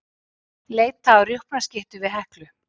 Leita að rjúpnaskyttu við Heklu